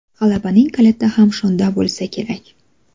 G‘alabaning kaliti ham shunda bo‘lsa kerak.